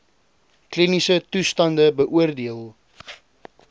kliniese toestande beoordeel